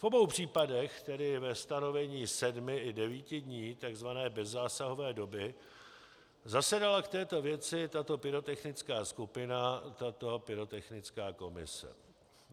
V obou případech, tedy ve stanovení sedmi i devíti dní takzvané bezzásahové doby, zasedala k této věci tato pyrotechnická skupina, tato pyrotechnická komise.